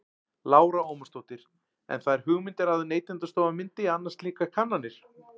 Lára Ómarsdóttir: En þær hugmyndir að Neytendastofa myndi annast slíkar kannanir?